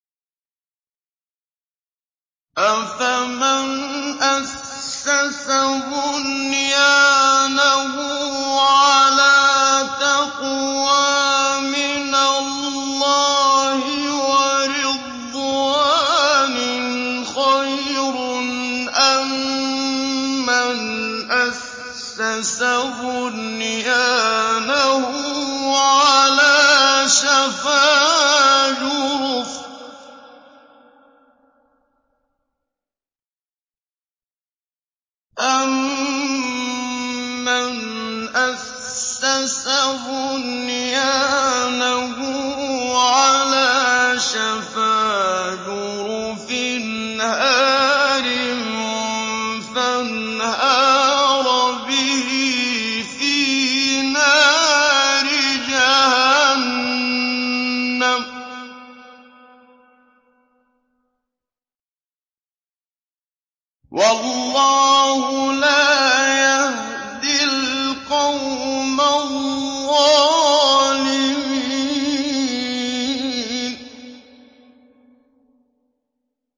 أَفَمَنْ أَسَّسَ بُنْيَانَهُ عَلَىٰ تَقْوَىٰ مِنَ اللَّهِ وَرِضْوَانٍ خَيْرٌ أَم مَّنْ أَسَّسَ بُنْيَانَهُ عَلَىٰ شَفَا جُرُفٍ هَارٍ فَانْهَارَ بِهِ فِي نَارِ جَهَنَّمَ ۗ وَاللَّهُ لَا يَهْدِي الْقَوْمَ الظَّالِمِينَ